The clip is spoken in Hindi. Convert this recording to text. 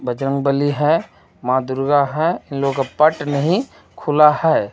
बजरंगबली है माँ दुर्गा है वो लोक का पट नहीं खुला है.